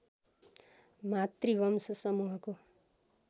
मातृवंश समूहको